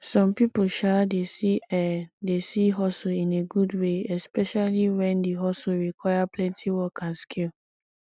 some pipo um dey see um dey see hustle in a good way especially when di hustle require plenty work and skill